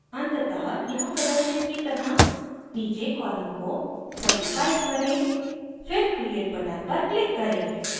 अंततः यहाँ प्रदर्शित की तरह नीचे column को 35 करें फिर create button पर click करें